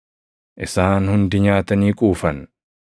Isaan hundi nyaatanii quufan;